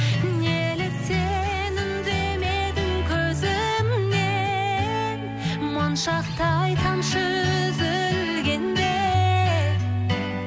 неліктен үндемедің көзімнен моншақтай тамшы үзілгенде